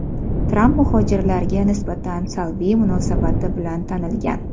Tramp muhojirlarga nisbatan salbiy munosabati bilan tanilgan.